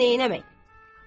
Amma neynəmək?